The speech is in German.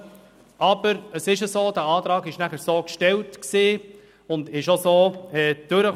Doch der Antrag war danach so gestellt und kam auch so durch.